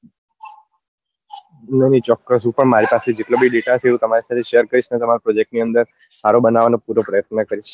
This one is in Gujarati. ભાઈ ચોક્કસ મારી પાસે જેટલો બી data હશે એટલે હું તમારી સાથે share કરીશ તમારા project ની અંદર સારો બનાવવાનો પૂરો પ્રયત્ન કરીશ